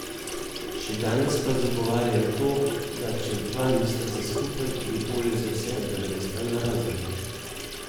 Še danes pa zagovarjam to, da če dva nista za skupaj, je bolje za vse, da gresta narazen.